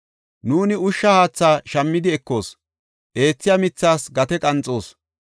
Nuuni ushsha haatha shammidi ekoos; eethiya mithas gate qanxoos.